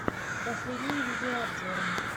последние видеообзоры